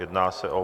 Jedná se o